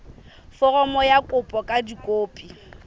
foromo ya kopo ka dikopi